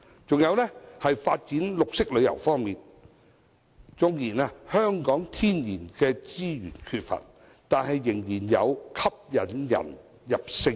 此外，在發展綠色旅遊方面，縱然香港缺乏天然資源，但仍然有其引人入勝之處。